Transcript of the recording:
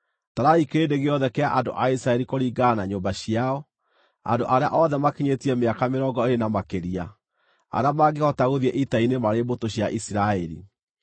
“Tarai kĩrĩndĩ gĩothe kĩa andũ a Isiraeli kũringana na nyũmba ciao, andũ arĩa othe maakinyĩtie mĩaka mĩrongo ĩĩrĩ na makĩria, arĩa mangĩhota gũthiĩ ita-inĩ marĩ mbũtũ cia Isiraeli.”